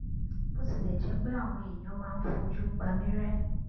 bó tilẹ jẹ pé àwọn èèyàn máa ń fojú pa mí ré